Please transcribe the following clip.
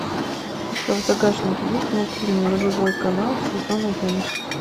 у тебя в загашнике есть мультфильм нулевой канал сезон одиннадцать